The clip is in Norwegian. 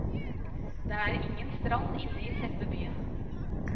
Det er ingen strand inne i selve byen.